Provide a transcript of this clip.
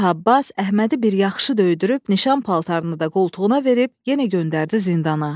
Şah Abbas Əhmədi bir yaxşı döydürüb nişan paltarını da qoltuğuna verib yenə göndərdi zindana.